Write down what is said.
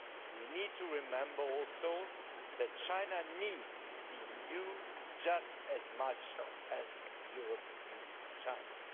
We need to remember also that China needs the EU just as much as Europe needs China.